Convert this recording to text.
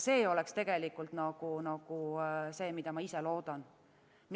See oleks tegelikult see, mida ma ise loodan.